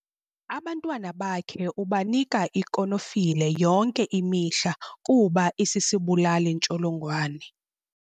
Abantwana bakhe ubanika ikonofile yonke imihla kuba isisibulali-ntsholongwane.